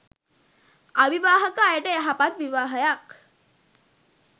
අවිවාහක අයට යහපත් විවාහයක්